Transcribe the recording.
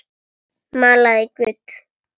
Malaði gull.